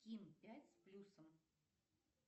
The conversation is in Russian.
ким пять с плюсом